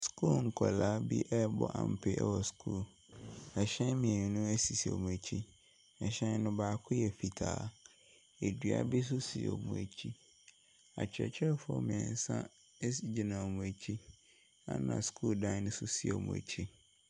Sukuu nkwadaa bi ɛrebɔ ampe wɔ sukuu mu. Hyɛn mmienu sisi wɔn akyi. Hyɛn no baako yɛ fitaa, dua bi nso si wɔn akyi. Akyerɛkyerɛfo mmiɛnsa nso gyina wɔn akyi na sukuu dan no nso si wɔn akyi.